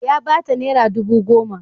Ya ba ta naira dubu goma.